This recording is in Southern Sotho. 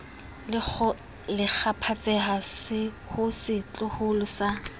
le kgaphatseha ho setloholo sa